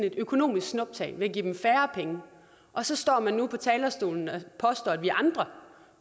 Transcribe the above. et økonomisk snuptag ved at give dem færre penge og så står man nu på talerstolen og påstår at vi andre